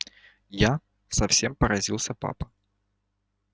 я совсем поразился папа